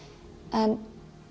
en